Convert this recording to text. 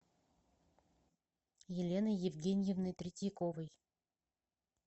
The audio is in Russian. еленой евгеньевной третьяковой